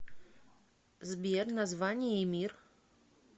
сбер название эмир